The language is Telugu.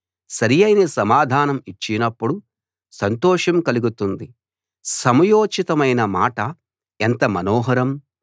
సరియైన సమాధానం ఇచ్చినప్పుడు సంతోషం కలుగుతుంది సమయోచితమైన మాట ఎంత మనోహరం